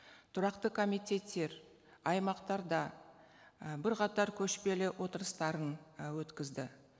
тұрақты комитеттер аймақтарда і бірқатар көшпелі отырыстарын і өткізді